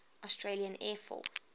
australian air force